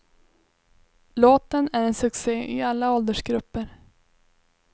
Låten är en succe i alla åldersgrupper.